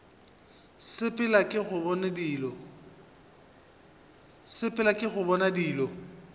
sepela ke go bona dilo